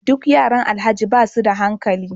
Duk yaran alhaji basuda hankali